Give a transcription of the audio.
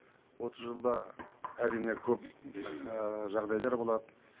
отыз жылда әрине көп жағдайлар болады